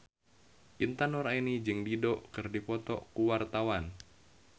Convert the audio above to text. Intan Nuraini jeung Dido keur dipoto ku wartawan